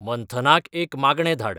मंथनाक एक मागणें धाड